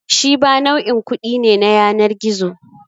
Shiba nau'in kuɗi ne na yanar gizo.